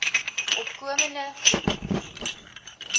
opkomende boere gewy